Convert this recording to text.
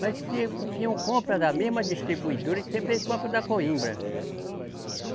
Mas se o Peão compra da mesma distribuidora que sempre eles compra da Coimbra.